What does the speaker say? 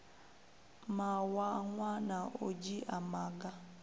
mawanwa na u dzhia maga